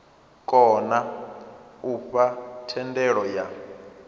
kona u fha thendelo yo